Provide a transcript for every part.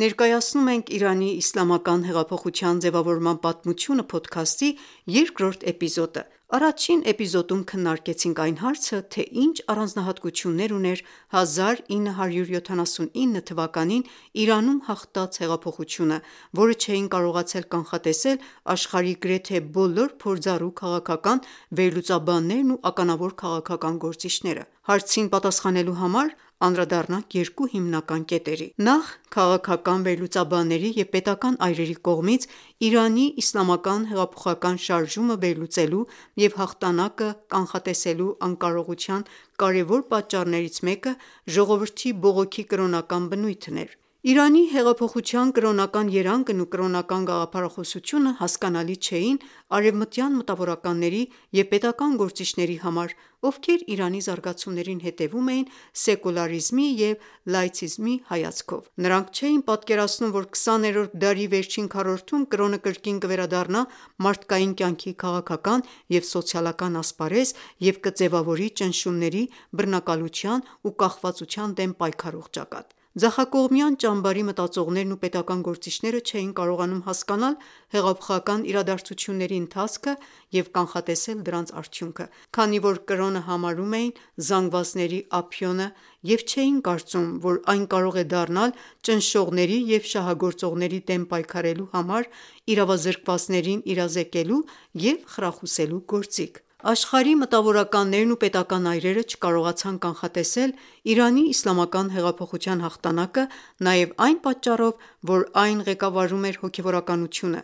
Ներկայացնում ենք «Իրանի իսլամական հեղափոխության ձևավորման պատմությունը» փոդքասթի երկրորդ դրվագը։ Առաջին էպիզոդում քննարկեցինք այն հարցը, թե ինչ առանձնահատկություններ ուներ 1979-թվականին Իրանում հաղթած հեղափոխությունը, որը չէին կարողացել կանխատեսել աշխարհի գրեթե բոլոր փորձառու քաղաքական վերլուծաբաններն ու ականավոր քաղաքական գործիչները։ Հարցին պատասխանելու համար անդրադարձանք երկու հիմնական կետերի: Նախ՝ քաղաքական վերլուծաբանների և պետական այրերի կողմից Իրանի հեղափոխական շարժումը վերլուծելու և հաղթանակը կանխատեսելու անկարողության կարևոր պատճառներից մեկը ժողովրդի բողոքի՝ կրոնական բնույթն էր։ Իրանի հեղափոխության կրոնական երանգն ու կրոնական գաղափարախոսությունը հասկանալի չէին արևմտյան մտավորականների և պետական գործիչների համար, ովքեր Իրանի զարգացումներին հետևում էին սեկոլարիզմի և լաիցիզմի հայացքով։ Նրանք չէին պատկերացնում, որ 20-րդ դարի վերջին քառորդում կրոնը կրկին կվերադառնա մարդկային կյանքի քաղաքական և սոցիալական ասպարեզ և կձևավորի ճնշումների, բռնակալության ու կախվածության դեմ պայքարող ճակատ։ Ձախակողմյան ճամբարի մտածողներն ու պետական գործիչները չէին կարողանում հասկանալ հեղափոխական իրադարձությունների ընթացքը և կանխատեսել դրանց արդյունքը, քանի որ կրոնը համարում էին զանգվածների ափիոնը և չէին կարծում, որ այն կարող է դառնալ ճնշողների և շահագործողների դեմ պայքարելու համար իրավազրկվածներին իրազեկելու և խրախուսելու գործիք։ Աշխարհի մտավորականներն ու պետական այրերը չկարողացան կանխատեսել Իրանի իսլամական հեղափոխության հաղթանակը նաև այն պատճառով, որ այն ղեկավարում էր հոգևորականությունը,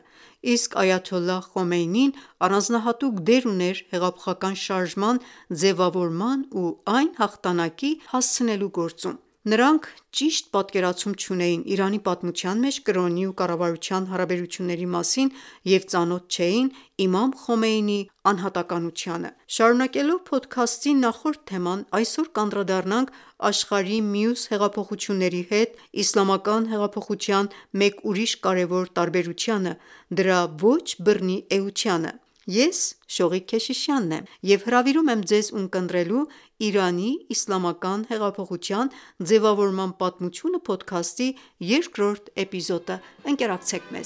իսկ Այաթոլլահ Խոմեյնին առանձնահատուկ դեր ուներ հեղափոխական շարժման ձևավորման ու այն հաղթանակի հասցնելու գործում: Նրանք ճիշտ պատկերացում չունեին Իրանի պատմության մեջ կրոնի ու կառավարության հարաբերությունների մասին և ծանոթ չէին Իմամ Խոմեյնիի անհատականություն: Շարունակելով փոդքասթի նախորդ թեման այսօր կանդրադառնանք աշխարհի մյուս հեղափոխությունների հետ իսլամական հեղափոխության մեկ ուրիշ կարևոր տարբերությանը՝ դրա ոչ բռնի էությանը: Ես... եմ և հրավիրում եմ ձեզ՝ ունկնդրելու «Իրանի իսլամական եղափոխության ձևավորման պատմությունը» փոդքասթի երկրորդ դրվագը։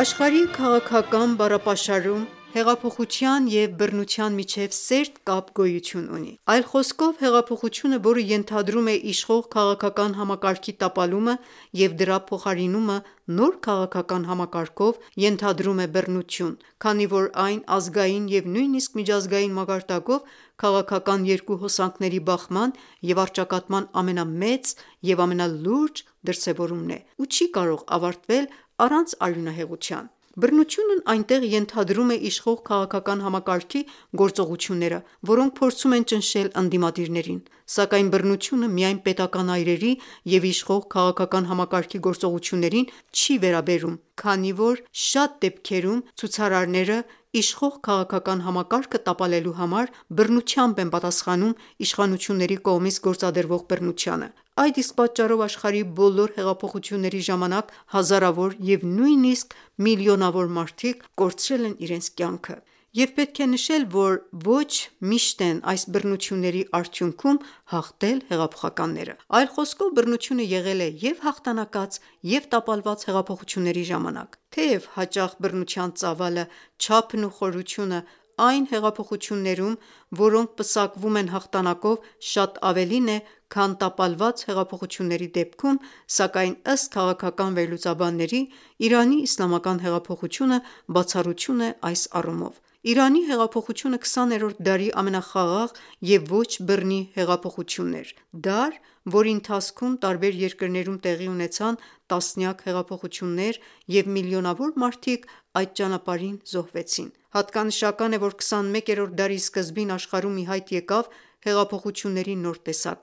Աշխարհի քաղաքական բառապաշարում հեղափոխության և բռնության միջև սերտ կապ գոյություն ունի։ Այլ խոսքով ՝ հեղափոխությունը, որը ենթադրում է իշխող քաղաքական համակարգի տապալումը և դրա փոխարինումը նոր քաղաքական համակարգով, ենթադրում է բռնություն, քանի որ այն ազգային և նույնիսկ միջազգային մակարդակով քաղաքական երկու հոսանքների բախման և առճակատման ամենամեծ և ամենալուրջ դրսևորումն է ու չի կարող ավարտվել առանց արյունահեղության։ Բռնությունն այստեղ ենթադրում է իշխող քաղաքական համակարգի գորոծղությունները, որոնք փորձում են ճնշել ընդդիմադիրներին։ Սակայն բռնությունը միայն պետական այրերի և իշխող քաղաքական համակարգի գործողություններին չի վերաբերում, քանի որ շատ դեպքերում ցուցարարները, իշխող քաղաքական համակարգը տապալելու համար, բռնությամբ են պատասխանում իշխանությունների կողմից գործադրվող բռնությանը: Այդ իսկ պատճառով աշխարհի բոլոր հեղափոխությունների ժամանակ հազարավոր և նույնիսկ միլիոնավոր մարդիկ կորցրել են իրենց կյանքը։ Եվ պետք է նշել, որ ոչ միշտ են այս բռնությունների արդյունքում հաղթել հեղափոխականները: Այլ խոսքով՝ բռնությունը եղել է և՛ հաղթանակած, և՛ տապալված հեղափոխությունների ժամանակ: Թեև հաճախ բռնության ծավալը, չափն ու խորությունը, այն հեղափոխություններում, որոնք պսակվում են հաղթանակով, շատ ավելին է, քան տապալված հեղափոխությունների դեպքում, սակայն, ըստ քաղաքական վերլուծաբանների, Իրանի իսլամական հեղափոխությունը բացառություն է այս առումով: Իրանի հեղափոխությունը 20-րդ դարի ամենախաղաղ և ոչ բռնի հեղափոխությունն էր: Դար, որի ընթացքում տարբեր երկրներում տեղի ունեցան տասնյակ հեղափոխություններ, և միլիոնավոր մարդիկ այդ ճանապարհին զոհվեցին: Հատկանշական է, որ 21-րդ դարի սկզբին աշխարհում ի հայտ եկավ հեղափոխությունների նոր տեսակ,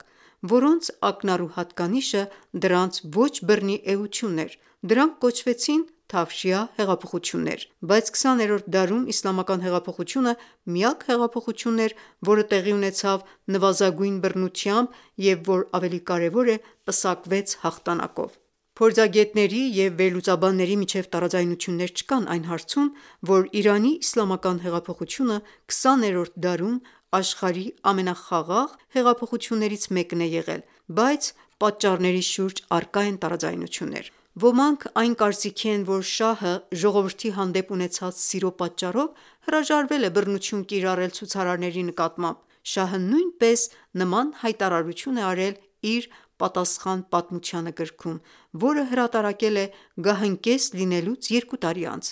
որոնց ակնառու հատկանիշը դրանց ոչ բռնի էությունն էր։ Դրանք կոչվեցին թավշյա հեղափոխություններ։ Բայց 20-րդ դարում իսլամական հեղափոխությունը միակ հեղափոխությունն էր, որը տեղի ունեցավ նվազագույն բռնությամբ և, որ ավելի կարևոր է, պսակվեց հաղթանակով: Փորձագետների և վերլուծաբանների միջև տարաձայնություններ չկան այն հարցում, որ Իրանի իսլամական հեղափոխությունը 20-րդ դարում աշխարհի ամենախաղաղ հեղափոխություններից մեկն է եղել, բայց պատճառների շուրջ առկա են տարաձայնություններ։ Ոմանք այն կարծիքի են, որ շահը, ժողովրդի հանդեպ ունեցած սիրո պատճառով հրաժարվել է բռնություն կիրառել ցուցարարների նկատմամբ։ Շահը նույնպես նման հայտարարություն է արել իր՝ «Պատասխան պատմությանը» գրքում, որը հրատարակել է գահընկեց լինելուց երկու տարի անց։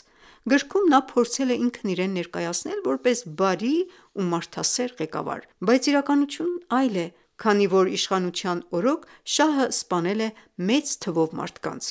Գրքում նա փորձել է ինքն իրեն ներկայացնել որպես բարի ու մարդասեր ղեկավար։ Բայց իրականությունն այլ է, քանի որ իշխանության օրոք շահը սպանել է մեծ թվով մարդկանց։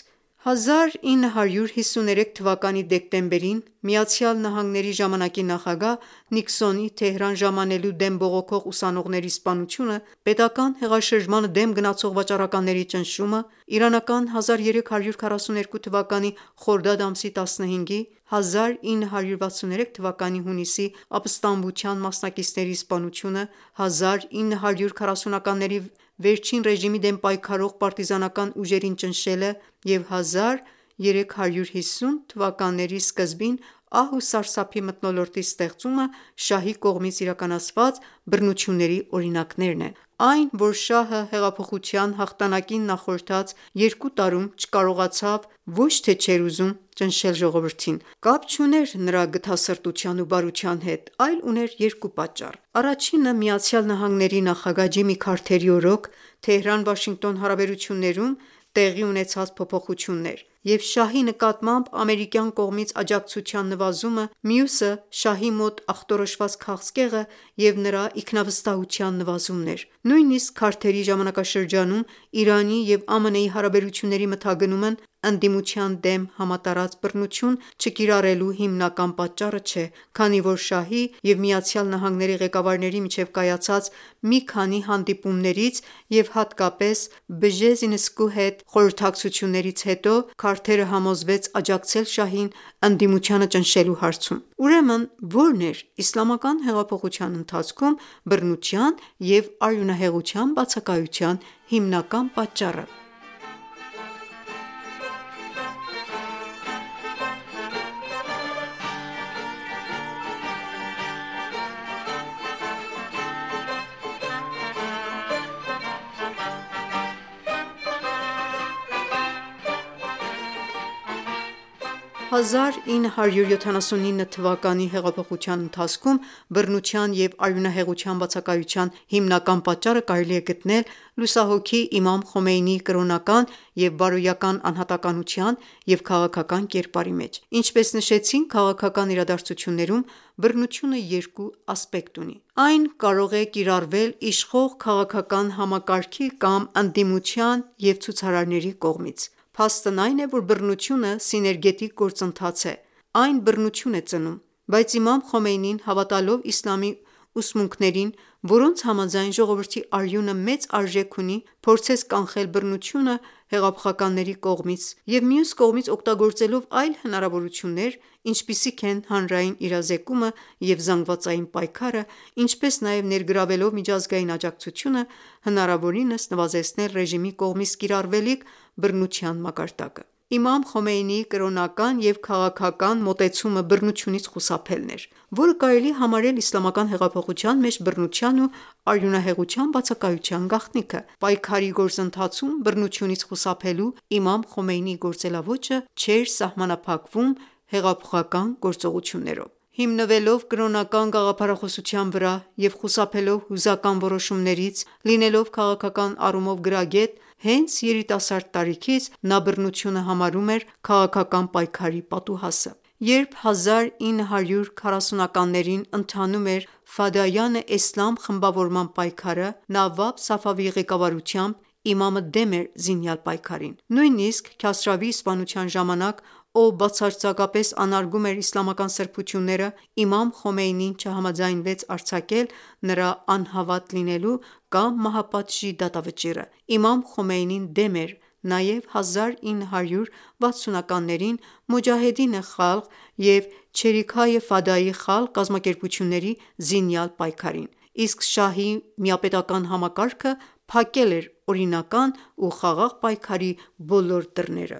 Իրանական 1332 թվականի ազար ամսի 16-ին (1953 թվականի դեկտեմբերին)) ԱՄՆ ժամանակի նախագահ Նիքսոնի Թեհրան ժամանելու դեմ բողոքող ուսանողների սպանությունը, պետական հեղաշրջմանը դեմ գնացող վաճառականների ճնշումը, իրանական 1342 թվականի խորդադ ամսի 15-ի (1963 թվականի հունիսի) ապստամբության մասնակիցների սպանությունը, 1940-ականների վերջին ռեժիմի դեմ պայքարող պարտիզանական ուժերին ճնշելը և 1350 ականների սկզբին ահ ու սարսափի մթնոլորտի ստեղծումը, շահի կողմից իրականացված բռնությունների օրինակներն են: Այն, որ շահը հեղափոխության հաղթանակին նախորդած երկու տարում չկարողացավ (ոչ թե չէր ուզում) ճնշել ժողովրդին, կապ չուներ նրա գթասրտության ու բարության հետ, այլ ուներ երկու պատճառ։ Առաջինն ԱՄՆ նախագահ Ջիմի Քարթերի օրոք Թեհրան-Վաշինգտոն հարաբերություններում տեղի ունեցած փոփոխությունն էր, և շահի նկատմամբ ամերիկյան կողմից աջակցության նվազումը, մյուսը՝ շահի մոտ ախտորոշված քաղցկեղը և նրա ինքնավստահության նվազումն էր։ Նույնիսկ Քարթերի ժամանակաշրջանում Իրանի և ԱՄՆ-ի հարաբերությունների մթագնումն ընդդիմության դեմ համատարած բռնություն չկիրառելու հիմնական պատճառը չէ, քանի որ շահի և ԱՄՆ-ի ղեկավարների միջև կայացած մի քանի հանդիպումներից և հատկապես Բժեզինսկու հետ խորհրդակցություններից հետո, Քարթերը համոզվեց աջակցել շահին՝ ընդդիմությանը ճնշելու հարցում։ Ուրեմն, ո՞րն էր իսլամական հեղափոխության ընթացքում բռնության և արյունահեղության բացակայության հիմնական պատճառը: 1979-ի հեղափոխության ընթացքում բռնության և արյունահեղության բացակայության հիմնական պատճառը կարելի է գտնել լուսահոգի Իմամ Խոմեյնիի կրոնական և բարոյական անհատականության և քաղաքական կերպարի մեջ: Ինչպես նշեցինք, քաղաքական իրադարձություններում բռնությունը երկու ասպեկտ ունի։ Այն կարող է կիրառվել իշխող քաղաքական համակարգի կամ՝ ընդդիմության ու ցուցարարների կողմից։ Փաստն այն է, որ բռնությունը սիներգետիկ գործընթաց է, այն բռնություն է ծնում։ Բայց Իմամ Խոմեյնին հավատալով իսլամի ուսմունքներին, որոնց համաձայն՝ ժողովրդի արյունը մեծ արժեք ունի, փորձեց կանխել բռնությունը հեղափոխականների կողմից և մյուս կողմից, օգտագործելով այլ հնարավորություններ, ինչպիսիք են՝ հանրային իրազեկումը և զանգվածային պայքարը, ինչպես նաև ներգրավելով միջազգային աջակցությունը, հնարավորին նվազեցնել ռեժիմի կողմից կիրառվելիք բռնության մակարդակը: Իմամ Խոմեյնիի կրոնական և քաղաքական մոտեցումը բռնությունից խուսափելն էր, որը կարելի է համարել իսլամական հեղափոխության մեջ բռնության ու արյունահեղության բացակայության գաղտնիքը: Պայքարի գործընթացում բռնությունից խուսափելու իմամ Խոմեյնիի գործելաոճը չէր սահմանափակվում հեղափոխական գործողություններով։ Հիմնվելով կրոնական գաղափարախոսության վրա և խուսափելով հուզական որոշումներից, լինելով քաղաքական առումով գրագետ, հենց երիտասարդ տարիքից նա բռնությունը համարում էր քաղաքական պայքարի պատուհասը: Երբ իրանական 1320 ականներին (1940-ականներ), ընթանում էր «Ֆադայանե Էսլամ» խմբավորման պայքարը, Նավաբ Սաֆավիի ղեկավարությամբ, իմամը դեմ էր զինյալ պայքարին: Նույնիսկ Քասրավիի սպանության ժամանակ, ով բացարձակապես անարգում էր իսլամական սրբությունները, իմամ Խոմեյնին չհամաձայնվեց արձակել նրա անհավատ լինելու կամ մահապատժի դատավճիռը: Իմամ Խոմեյնին դեմ էր նաև 1340 ականներին (1960-ականներ ) «Մոջահեդինե Խալղ» և «Չերիքհայե ֆադայի խալղ» կազմակերպությունների զինյալ պայքարին։ Իսկ շահի միապետական համակարգը փակել էր օրինական ու խաղաղ պայքարի բոլոր դռները: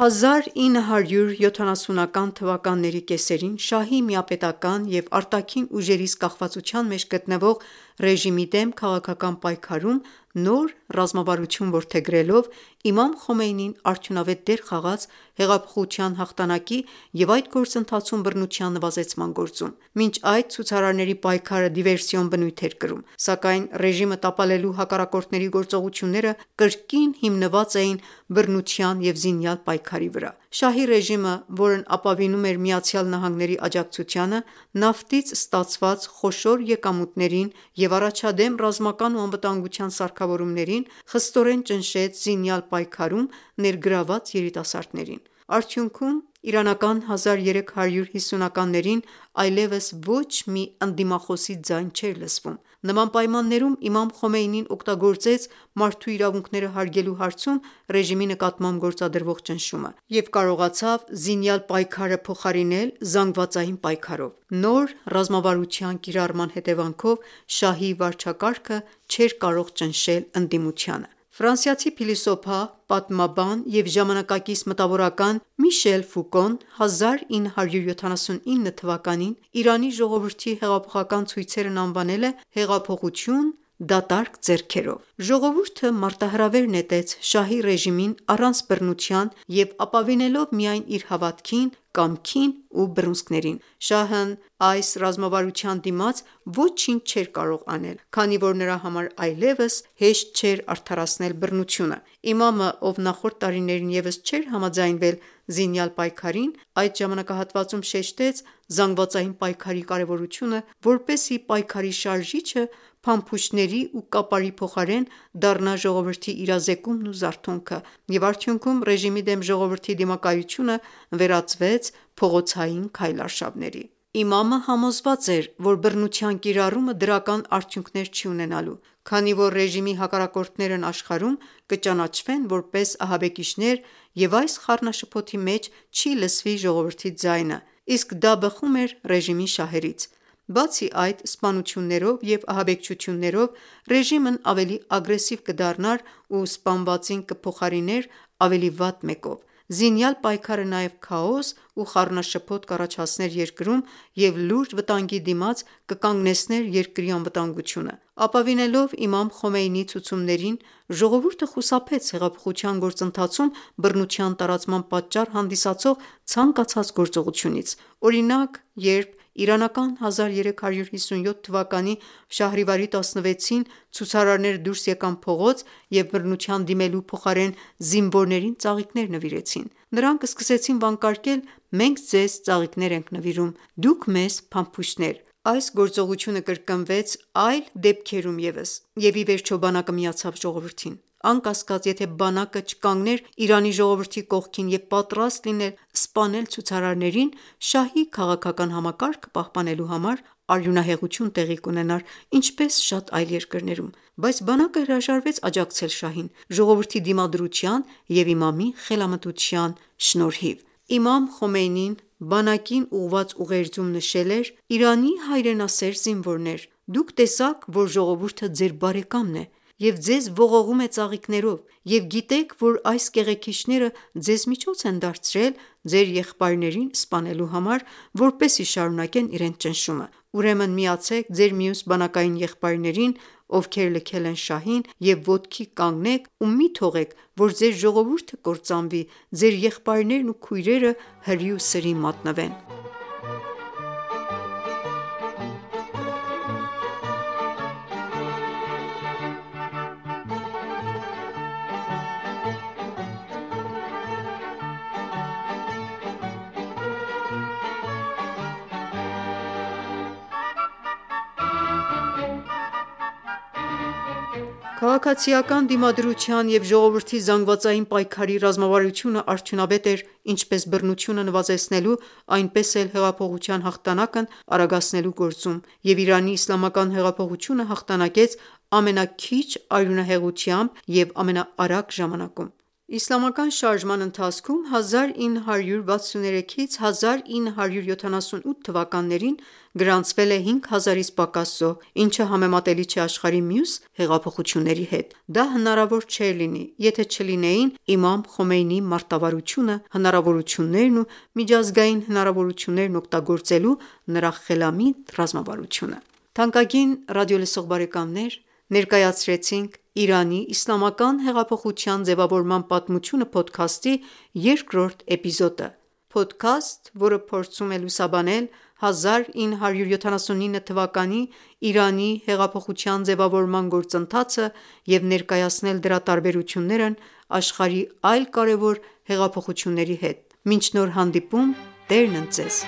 Իրանական 1350-ականների կեսերին (1970-ականներ) շահի միապետական և արտաքին ուժերից կախվածության մեջ գտնվող ռեժիմի դեմ քաղաքական պայքարում նոր ռազմավարություն որդեգրելով, իմամ Խոմեյնին արդյունավետ դեր խաղաց հեղափոխության հաղթանակի և այդ գործընթացում բռնության նվազեցման գործում։ Մինչ այդ, ցուցարարների պայքարը դիվերսիոն բնույթ էր կրում։ Սակայն ռեժիմը տապալելու հակառակորդների գործողությունները կրկին հիմնված էին բռնության և զինյալ պայքարի վրա։ Շահի ռեժիմը, որն ապավինում էր ԱՄՆ-ի աջակցությանը, նավթից ստացված խոշոր եկամուտներին և առաջադեմ ռազմական ու անվտանգության սարքավորումներին, խստորեն, ճնշեց զինյալ պայքարում ներգրավված երիտասարդներին։ Արդյունքում, իրանական 1350-ականներին այլևս ոչ մի ընդդիմախոսի ձայն չէր լսվում: Նման պայմաններում, իմամ Խոմեյնին օգտագործեց մարդու իրավունքները հարգելու հարցում ռեժիմի նկատմամբ գործադրվող ճնշումը և կարողացավ զինյալ պայքարը փոխարինել զանգվածային պայքարով: Նոր ռազմավարության կիրառման հետևանքով շահի վարչակազմը չէր կարող ճնշել ընդդիմությանը։ Ֆրանսիացի փիլիսոփա, պատմաբան և ժամանակակից մտավորական Միշել Ֆուկոն, 1979 թվականին Իրանի ժողովրդի հեղափոխական ցույցերն անվանել է «հեղափոխություն դատարկ ձեռքերով»։ Ժողովուրդը մարտահրավեր նետեց շահի ռեժիմին առանց բռնության և ապավինելով միայն իր հավատքին, կամքին ու բռունցքներին։ Շահն այս ռազմավարության դիմաց ոչինչ չէր կարող անել, քանի որ նրա համար այլևս հեշտ չէր արդարացնել բռնությունը։ Իմամը, ով նախորդ տարիներին ևս չէր համաձայնվել զինյալ պայքարին, այդ ժամանակահատվածում շեշտեց զանգվածային պայքարի կարևորությունը, որպեսզի պայքարի շարժիչը փամփուշտների ու կապարի փոխարեն դառնա ժողովրդի իրազեկումն ու զարթոնքը, և արդյունքում՝ ռեժիմի դեմ ժողովրդի դիմակայությունը վերածվեց փողոցային քայլարշավների: Իմամը համոզված էր, որ բռնության կիրառումը դրական արդյունքներ չի ունենալու, քանի որ ռեժիմի հակառակորդներն աշխարհում կճանաչվեն որպես ահաբեկիչներ և այս խառնաշփոթի մեջ չի լսվի ժողովրդի ձայնը։ Իսկ դա բխում էր ռեժիմի շահերից: Բացի այդ, սպանություններով և ահաբեկչություններով ռեժիմն ավելի ագրեսիվ կդառնար ու սպանվածին կփոխարիներ ավելի վատ մեկով։ Զինյալ պայքարը նաև քաոս ու խառնաշփոթ կառաջացներ երկրում և լուրջ վտանգի դիմաց կկանգնեցներ երկրի անվտանգությունը ։ Ապավինելով իմամ Խոմեյնիի ցուցումներին, ժողովուրդը խուսափեց հեղափոխության գործընթացում բռնության տարածման պատճառ հանդիսացող ցանկացած գործողությունից։ Օրինակ, երբ իրանական 1357 թվականի շահրիվարի 16-ին ցուցարարները դուրս եկան փողոց և բռնության դիմելու փոխարեն զինվորներին ծաղիկներ նվիրեցին։ Նրանք սկսեցին վանկարկել. «Մենք ձեզ ծաղիկներ ենք նվիրում, դուք մեզ՝ փամփուշտներ»։ Այս գործողությունը կրկնվեց այլ դեպքերում ևս, և ի վերջո բանակը միացավ ժողովրդին։ Անկասկած, եթե բանակը չկանգներ Իրանի ժողովրդի կողքին և պատրաստ լիներ սպանել ցուցարարներին՝ շահի քաղաքական համակարգը պահպանելու համար, արյունահեղություն տեղի կունենար, ինչպես շատ այլ երկրներում։ Բայց բանակը հրաժարվեց աջակցել շահին՝ ժողովրդի դիմադրության և իմամի խելամտության շնորհիվ: Իմամ Խոմեյնին բանակին ուղղած ուղերձում նշել էր. «Իրանի հայրենասեր զինվորներ: Դուք տեսաք, որ ժողովուրդը ձեր բարեկամն է և ձեզ ողողում է ծաղիկներով, և գիտեք, որ այս կեղեքիչները ձեզ միջոց են դարձրել ձեր եղբայրներին սպանելու համար, որպեսզի շարունակեն իրենց ճնշումը։ Ուրեմն միացե՛ք ձեր մյուս բանակային եղբայրներին, ովքեր լքել են շահին, և ոտքի կանգնեք ու մի թողեք, որ ձեր ժողովուրդը կործանվի, ձեր եղբայրներն ու քույրերը հրի ու սրի մատնվեն»: Քաղաքացիական դիմադրության և ժողովրդի զանգվածային պայքարի ռազմավարությունը արդյունավետ էր ինչպես բռնությունը նվազեցնելու, այնպես էլ հեղափոխության հաղթանակն արագացնելու գործում, և Իրանի իսլամական հեղափոխությունը հաղթանակեց ամենաքիչ արյունահեղությամբ և ամենաարագ ժամանակում։ Իսլամական շարժման ընթացքում, 1963-1978 թվականներին գրանցվել է 5 հազարից պակաս զոհ, ինչը համեմատելի չէ աշխարհի մյուս հեղափոխությունների հետ։ Դա հնարավոր չէր լինի եթե չլինեին իմամ Խոմեյնիի մարտավարությունը, հնարավորություններն ու միջազգային հնարավորություններն օգտագործելու նրա խելամիտ ռազմավարությունը։ Թանկագին ռադիոլսող բարեկամներ, ներկայացրեցինք «Իրանի իսլամական հեղափոխության ձևավորման պատմությունը» փոդքասթի երկրորդ դրվագը։ Փոդքասթ, որը փորձում է լուսաբանել 1979 թվականի Իրանի հեղափոխության ձևավորման գործընթացը և ներկայացնել դրա տարբերություններն աշխարհի այլ կարևոր հեղափոխությունների հետ: Մինչ նոր հանդիպում։ Տերն ընդ Ձեզ: